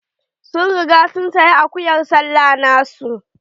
Sun riga sun saya akuyar sallah na su.